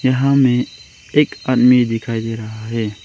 यहां में एक अन्य दिखाई दे रहा है।